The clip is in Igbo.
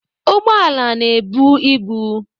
Ụgbọala na-ebu ibu.